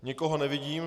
Nikoho nevidím.